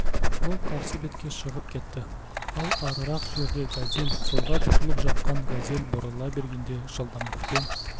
ол қарсы бетке шығып кетті ал арырақ жерде газель солға бұрылып жатқан газель бұрыла бергенде жылдамдықпен